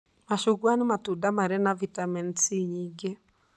Macungwa nĩ matunda marĩ na vitamini C nyingĩ.